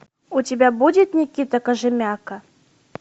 у тебя будет никита кожемяка